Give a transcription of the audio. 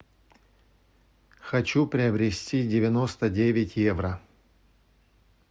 хочу приобрести девяносто девять евро